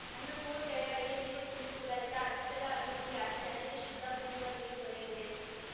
ಐವತ್ಮೂರು ಕೆರೆಗಳಿಗೆ ನೀರು ತುಂಬಿಸುವುದರಿಂದ ಅಂತರ್ಜಲ ಅಭಿವೃದ್ಧಿಯಾಗಿ ಜನರಿಗೆ ಶುದ್ಧ ಕುಡಿಯುವ ನೀರು ದೊರೆಯಲಿದೆ